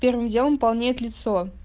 первым делом полнеет лицо